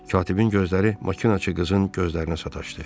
Katibin gözləri maşınçı qızın gözlərinə sataşdı.